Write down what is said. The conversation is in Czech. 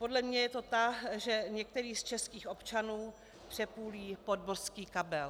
Podle mě je to ta, že některý z českých občanů přepůlí podmořský kabel.